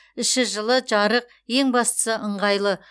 іші жылы жарық ең бастысы ыңғайлы